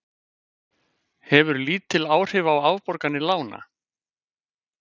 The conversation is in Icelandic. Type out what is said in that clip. Hefur lítil áhrif á afborganir lána